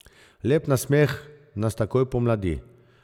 Lep nasmeh nas takoj pomladi.